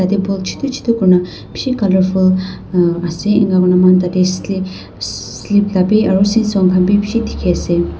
table chotu chotu koina bishi colourful aa ase enka koina moikhan tate sca slip lah bhi aru seashore khan bhi bishi dikhi ase.